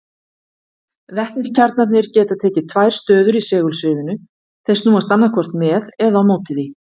Vetniskjarnarnir geta tekið tvær stöður í segulsviðinu, þeir snúast annaðhvort með eða á móti því.